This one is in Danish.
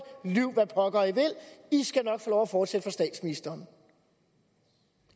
lyv hvad pokker i vil i skal nok få lov at fortsætte for statsministeren